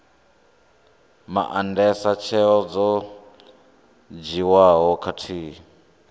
maandesa tsheo dzo dzhiiwaho khathihi